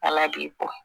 Ala b'i bɔ